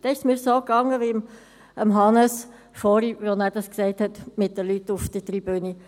Dann ging es mir so wie Hannes Zaugg vorhin mit den Leuten auf der Tribüne.